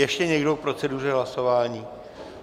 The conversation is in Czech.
Ještě někdo k proceduře hlasování?